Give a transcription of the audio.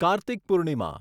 Kartik Purnima